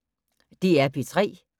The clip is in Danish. DR P3